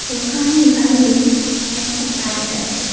দোকানের বাইরে একটা বাইক আছে।